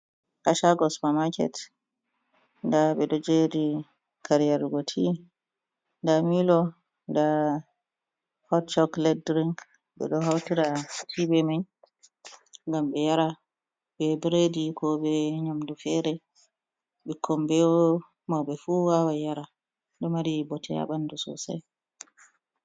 Ha shago supamarket nda ɓeɗo jeri are yarugo ti nda milo nda hotchok led drink ɓeɗo hautira ti be mai ngam be yara be biredi ko be nyamdu fere ɓikkon be mauɓe fu wawan yara ɗo mari bote ha bandu sosai.